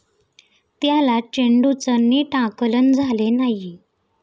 त्याला चेंडूचं नीट आकलन झाले नाही.